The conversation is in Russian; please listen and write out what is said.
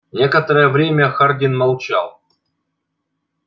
некоторое время хардин молчал